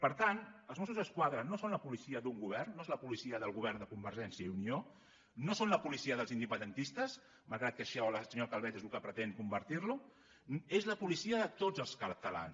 per tant els mossos d’esquadra no són la policia d’un govern no és la policia del govern de convergència i unió no són la policia dels independentistes malgrat que això la senyora calvet és en el que pretén convertir la és la policia de tots els catalans